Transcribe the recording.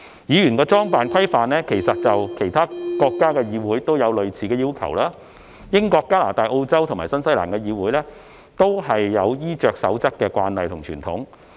議員的裝扮規範其實在其他國家的議會均有類似要求，英國、加拿大、澳洲及新西蘭的議會，均有衣着守則的慣例及傳統。